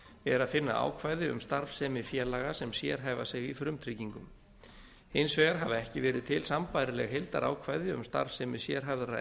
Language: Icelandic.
er að finna ákvæði um starfsemi félaga sem sérhæfa sig í frumtryggingum hins vegar hafa ekki verið til sambærileg heildarákvæði um starfsemi sérhæfðra